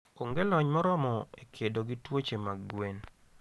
Onge lony moromo e kedo gi tuoche mag gwen.